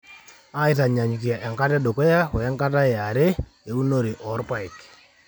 aitanyaanyukie enkata edukuya we nkata e are ounore orpaek